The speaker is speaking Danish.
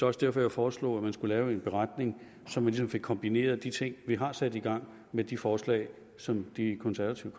også derfor jeg foreslog at man skulle lave en beretning så man ligesom kan få kombineret de ting vi har sat i gang med de forslag som de konservative